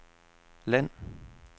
land